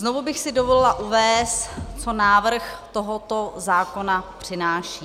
Znovu bych si dovolila uvést, co návrh tohoto zákona přináší.